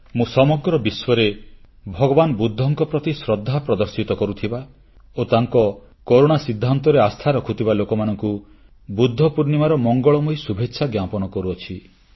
ମୁଁ ସମଗ୍ର ବିଶ୍ୱରେ ଭଗବାନ ବୁଦ୍ଧଙ୍କ ପ୍ରତି ଶ୍ରଦ୍ଧା ପ୍ରଦର୍ଶିତ କରୁଥିବା ଓ ତାଙ୍କ କରୁଣା ସିଦ୍ଧାନ୍ତରେ ଆସ୍ଥା ରଖୁଥିବା ଲୋକମାନଙ୍କୁ ବୁଦ୍ଧ ପୂର୍ଣ୍ଣିମାର ମଙ୍ଗଳମୟୀ ଶୁଭେଚ୍ଛା ଜ୍ଞାପନ କରୁଅଛି